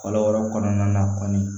Kɔlɔ wɛrɛ kɔnɔna na kɔni